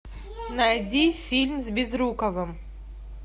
найди фильм с безруковым